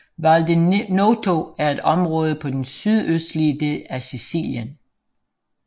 Val di Noto er et område på den sydøstlige del af Sicilien